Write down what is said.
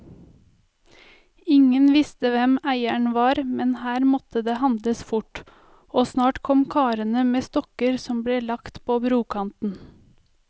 Ingen visste hvem eieren var, men her måtte det handles fort, og snart kom karene med stokker som ble lagt på brokanten.